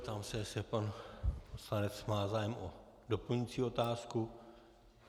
Ptám se, jestli pan poslanec má zájem o doplňující otázku.